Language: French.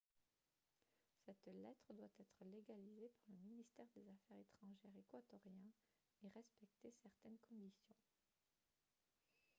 cette lettre doit être légalisée par le ministère des affaires étrangères équatorien et respecter certaines conditions